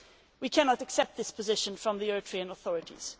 We cannot accept this position from the Eritrean authorities.